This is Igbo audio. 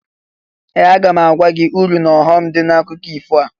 Ee! Aga m agwa gị uru n'ọghọm dị n'akụkọ ifo a.